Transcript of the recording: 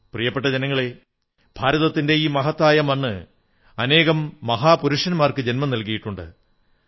പ്രിയപ്പെട്ട ജനങ്ങളേ ഭാരതത്തിന്റെ ഈ മഹത്തായ മണ്ണ് അനേകം മഹാപുരുഷന്മാർക്ക് ജന്മം നല്കിയിട്ടുണ്ട്